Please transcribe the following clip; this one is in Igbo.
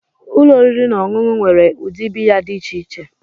Ụlọ oriri na ọṅụṅụ nwere ụdị biya dị iche iche.